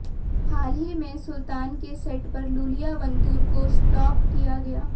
हाल ही में सुल्तान के सेट पर लूलिया वंतूर को स्पॉट किया गया